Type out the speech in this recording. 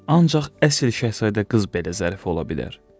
Ancaq əsl Şahzadə qız belə zərif ola bilər.